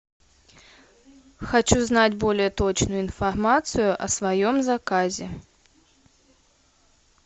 хочу знать более точную информацию о своем заказе